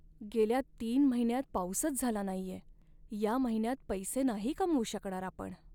गेल्या तीन महिन्यांत पाऊसच झाला नाहीये. या महिन्यात पैसे नाही कमवू शकणार आपण.